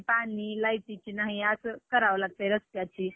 पाणी, लाईटीची नाही असं करावं लागते रस्त्याची.